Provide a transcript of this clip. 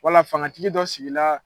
Wala fangatigi dɔ sigila